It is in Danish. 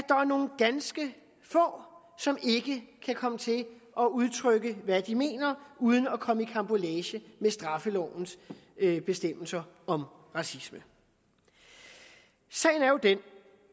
er nogle ganske få som ikke kan komme til at udtrykke hvad de mener uden at komme i karambolage med straffelovens bestemmelser om racisme sagen er jo den